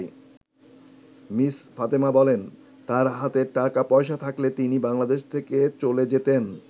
Miss Fatema বলেন, তার হাতে টাকা পয়সা থাকলে তিনি বাংলাদেশ থেকে চলে যেতেন।